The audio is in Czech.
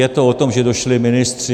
Je to o tom, že došli ministři.